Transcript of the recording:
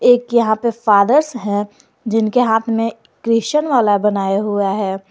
एक यहां पे फादर्स है जिनके हाथ में क्रिश्चियन वाला बनाया हुआ है।